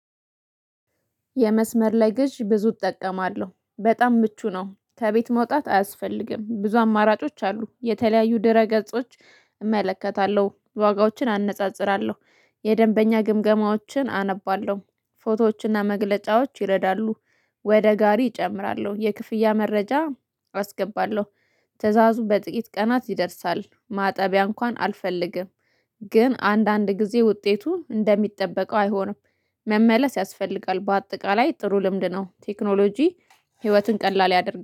የመስመር ላይ ግዥ ብዙ እጠቀማለሁ በጣም ምቹ ነው። ከቤት መውጣት አያስፈልግም ብዙ አማራጮች አሉ። የተለያዩ ድረ ገጾች እመለከታለሁ ዋጋዎችን አነጻጽራለሁ። የደንበኛ ግምገማዎችን አነባለሁ ፎቶዎችና መግለጫዎች ይረዳሉ። ወደ ጋሪ እጨምራለሁ የክፍያ መረጃ አስገባለሁ። ትእዛዙ በጥቂት ቀናት ይደርሳል ማጠቢያ እንኳን አልፈልግም። ግን አንዳንድ ጊዜ ውጤቱ እንደሚጠበቀው አይሆንም። መመለስ ያስፈልጋል በአጠቃላይ ጥሩ ልምድ ነው። ቴክኖሎጂ ህይወትን ቀላል ያደርጋል